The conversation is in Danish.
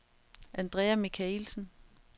Andrea Michaelsen